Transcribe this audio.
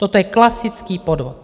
Toto je klasický podvod.